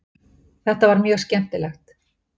Þetta var mjög skemmtilegt